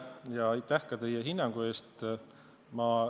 Ja aitäh ka teie hinnangu eest!